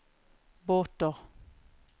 båter